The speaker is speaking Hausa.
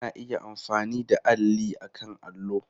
Ana iya amfani da alli akan allo.